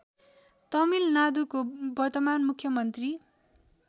तमिलनाडुको वर्तमान मुख्यमन्त्री